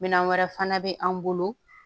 Minɛn wɛrɛ fana bɛ an bolo